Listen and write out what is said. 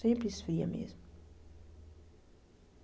Sempre esfria mesmo.